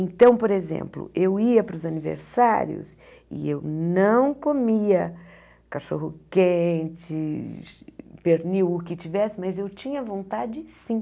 Então, por exemplo, eu ia para os aniversários e eu não comia cachorro quente, pernil, o que tivesse, mas eu tinha vontade sim.